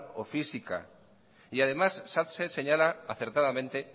o física y además satse señala acertadamente